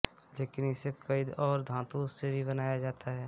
लेकिन इसे कई और धातु से भी बनाया जाता है